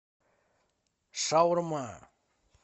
шаурма